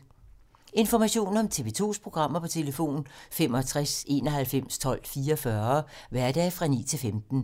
Information om TV 2's programmer: 65 91 12 44, hverdage 9-15.